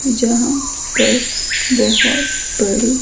जहां पर बहुत बड़े--